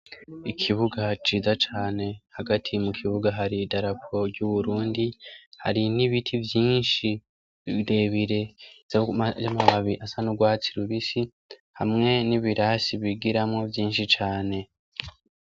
Ikibuga ciza cane hagati mu kibuga hari dalapo ry'uburundi hari n'ibiti vyinshi birebire za mababi asa n'urwatsi rubisi hamwe n'ibirasi bigiramwo vyinshi cane.